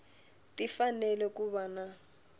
ti fanele ku va na